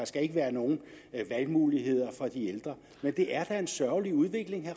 skal være nogen valgmuligheder for de ældre men det er da en sørgelig udvikling vil